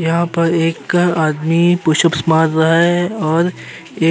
यहाँ पर एक आदमी पुशअप्स मार रहा है और